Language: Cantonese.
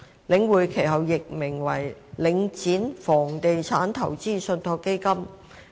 領匯其後易名為領展房地產投資信託基金。